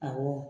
Awɔ